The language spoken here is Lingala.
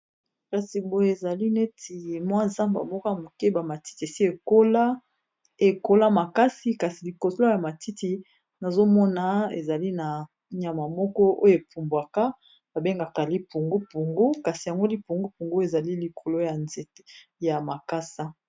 kasi boye ezali neti mwa zamba moka moke bamatiti esi ekola makasi kasi likosolo ya matiti nazomona ezali na nyama moko oyo epumbwaka babengaka lipungupungu kasi yango lipungu pungu ezali likolo ya nzete ya makasa